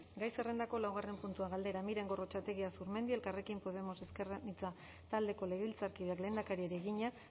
gai zerrendako laugarren puntua galdera miren gorrotxategi azurmendi elkarrekin podemos ezker anitza taldeko legebiltzarkideak lehendakariari egina